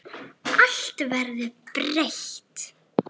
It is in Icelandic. Allt verður breytt.